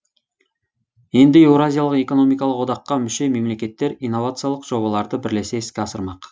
енді еуразиялық экономикалық одаққа мүше мемлекеттер инновациялық жобаларды бірлесе іске асырмақ